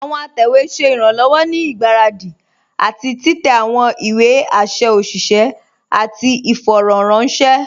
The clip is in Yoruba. Àwọn àtẹwé ṣẹ̀ iranlọ́wọ̀ ní igbáradi àti titẹ̀ àwọn ìwé àṣẹ̀ òṣìṣẹ̀ àti ìfọ̀rọ̀ranṣẹ̀.